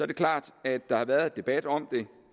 det klart at der har været debat om